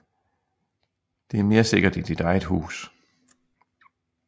Det er mere sikkert i dit eget hus